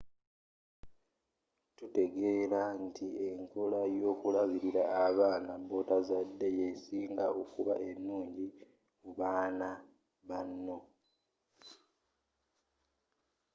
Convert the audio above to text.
tutegeela nti enkola yokulabilira abaana botazadde yesinga okuba enungi kubaana banno